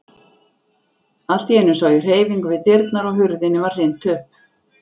Allt í einu sá ég hreyfingu við dyrnar og hurðinni var hrint upp.